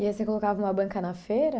E aí você colocava uma banca na feira?